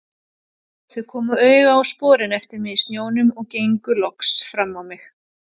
Þau komu auga á sporin eftir mig í snjónum og gengu loks fram á mig.